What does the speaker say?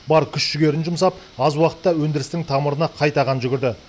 бар күш жігерін жұмсап аз уақытта өндірістің тамырына қайта қан жүгірді